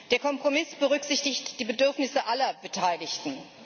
Der Kompromiss berücksichtigt die Bedürfnisse aller Beteiligten.